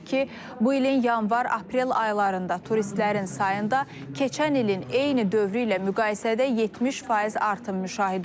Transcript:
Belə ki, bu ilin yanvar-aprel aylarında turistlərin sayında keçən ilin eyni dövrü ilə müqayisədə 70% artım müşahidə olunur.